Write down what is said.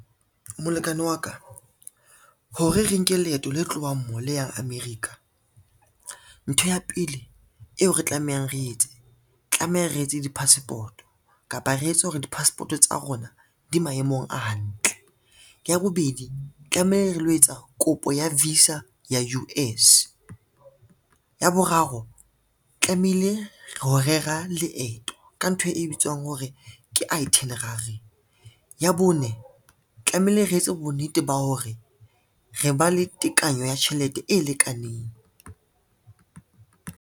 Molekane wa ka, hore re nke leeto le tlohang mo le yang America ntho ya pele eo re tlamehang re etse tlameha re etse di-passport kapa re etse hore di-passport o tsa rona di maemong a hantle. Ya bobedi tlameha re lo etsa kopo ya visa ya U_S. Ya boraro tlamehile ro rera leeto ka ntho e bitswang hore ke itinerary. Ya bone tlamehile re etse bonnete ba hore re ba le tekanyo ya tjhelete e lekaneng.